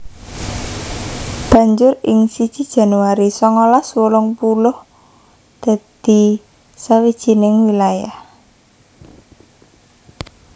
Banjur ing siji Januari songolas wolung puluh dadi sawijining wilayah